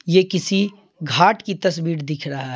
ये किसी घाट की तस्वीर दिख रहा है।